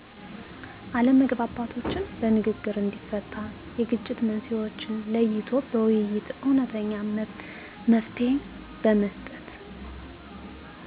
አለመግባባቶችን በንግግር እንዲፈታ የግጭት መንሥኤዎችን ለይቶ በውይይት እውነተኛ መፍትሔ በመስጠት